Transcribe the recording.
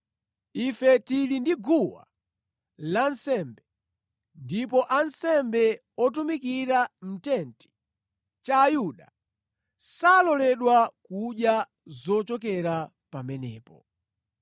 Ife tili ndi guwa lansembe, ndipo ansembe otumikira mʼtenti cha Ayuda, saloledwa kudya zochokera pamenepo.